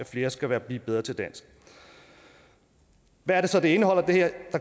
flere skal blive bedre til dansk hvad er det så det her indeholder der